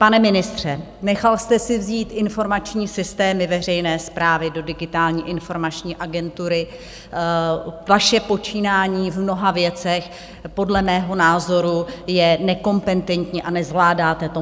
Pane ministře, nechal jste si vzít informační systémy veřejné správy do Digitální informační agentury, vaše počínání v mnoha věcech podle mého názoru je nekompetentní a nezvládáte to.